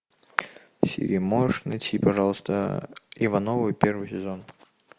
сири можешь найти пожалуйста ивановы первый сезон